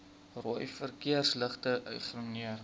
rooi verkeersligte ignoreer